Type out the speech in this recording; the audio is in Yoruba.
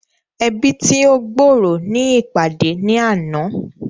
Ẹbi tí o gb'ọrọ ní ìpàdé ní àna